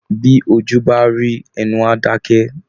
Bí ojú bá rí, ẹnu a dakẹ.